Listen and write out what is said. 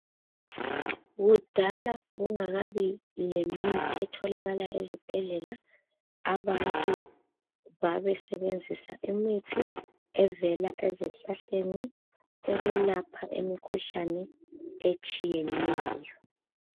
Kudala kwakungakabi lemithi etholakala ezibhedlela. Abantu babesebenzisa imithi evela ezihlahleni okulapha imkhuhlane etshiyeneyo.